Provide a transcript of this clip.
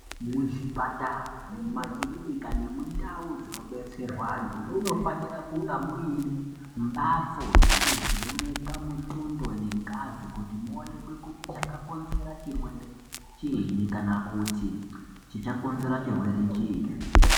Muzvipatara mumakirinika nemundau dzinobetserwa vantu munfanirwa kunga muine mbatso yekuvheneka mutundo nengazi kuti muoneke kuti chakakonzera chirwere chiini kana kuti chichakonzera chirwere chiini.